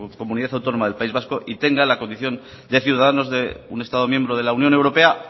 comunidad autónoma del país vasco y tenga la condición de ciudadanos de un estado miembro de la unión europea